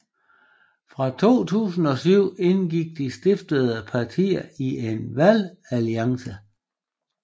Fra 2007 indgik de stiftende partier i en valgalliance